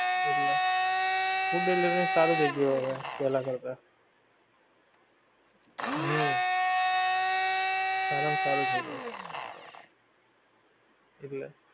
એટલે food delivery નું સારું થઈ ગયું હવે પેહલા કરતા, હમ સારા માં સારું થઈ ગયું, એટલે